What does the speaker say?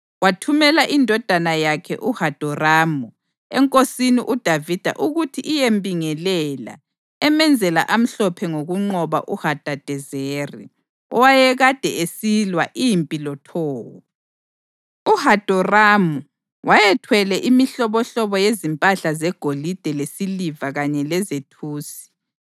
wathumela indodana yakhe uHadoramu enkosini uDavida ukuthi iyembingelela emenzela amhlophe ngokunqoba uHadadezeri owayekade esilwa impi loTowu. UHadoramu wayethwele imihlobohlobo yezimpahla zegolide lesiliva kanye lezethusi.